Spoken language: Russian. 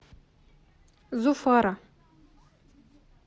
зуфара